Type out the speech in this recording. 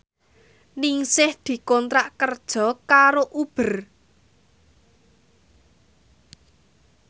Ningsih dikontrak kerja karo Uber